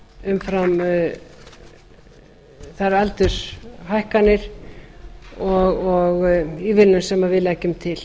umfram þær aldurshækkanir og ívilnun sem við leggjum til